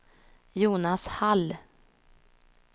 Jonas Hall